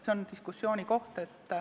See on diskussiooni koht.